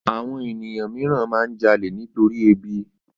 Àwọn ènìyàn mìíràn máa ń jalè nitorí ebi